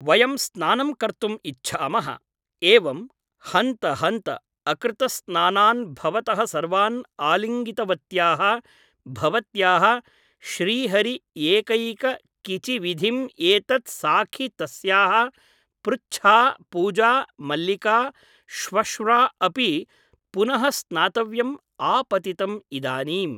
वयं स्नानं कर्तुम् इच्छामः । एवम् ! हन्त हन्त , अकृतस्नानान् भवतः सर्वान् आलिङ्गितवत्याः भवत्याः श्रीहरि एकैक किचि विधिं एतत् साखि तस्याः पृच्छा पूजा मल्लिका श्वश्र्वा अपि पुनः स्नातव्यम् आपतितम् इदानीम् !